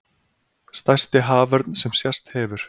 Stærsti haförn sem sést hefur